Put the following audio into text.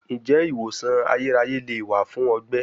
Njẹ iwosan ayeraye le wa fun ọgbẹ?